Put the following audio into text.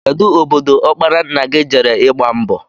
Kedụ obodo ọkpara nna gị jere ịgba mbọ?